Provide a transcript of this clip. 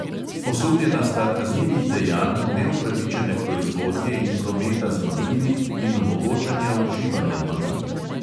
Osumljena sta kaznivih dejanj neupravičene proizvodnje in prometa z mamili in omogočanja uživanja mamil.